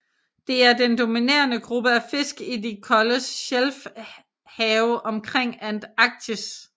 Det er den dominerende gruppe af fisk i de kolde shelfhave omkring Antarktis